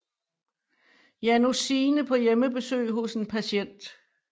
Janus Signe på hjemmebesøg hos en patient